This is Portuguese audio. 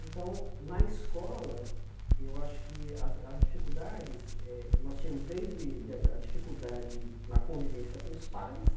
Então, na escola, eu acho que as as dificuldades eh, nós tínhamos desde a a dificuldade na convivência com os pares,